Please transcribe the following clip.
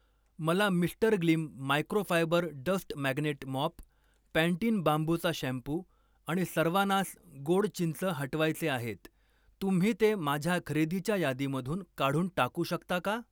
मला mister Gleam microfibre dust magnet mop, Pantene बांबूचा shampoo आणि सर्वानास गोड चिंच हटवायचे आहेत, तुम्ही ते माझ्या खरेदीच्या यादीमधून काढून टाकू शकता का?